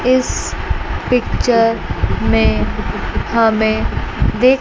इस पिक्चर में हमें--